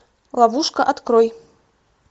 ловушка открой